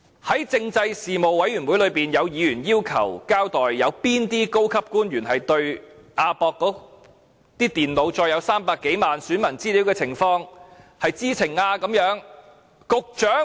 在政制事務委員會會議上，有委員要求交代，對於亞博館的電腦載有300多萬名選民資料的情況，有哪些高級官員是知情呢？